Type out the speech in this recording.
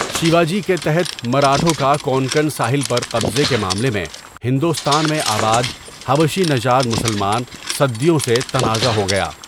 شیواجی کے تحت مراٹھوں کا کونکن ساحل پر قبضے کے معاملے میں ہندوستان میں آباد حبشی نژاد مسلمان سدیوں سے تنازع ہو گیا۔